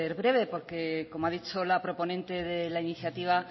breve porque como ha dicho la proponente de la iniciativa